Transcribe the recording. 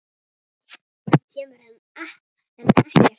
Hann kemur henni ekkert við.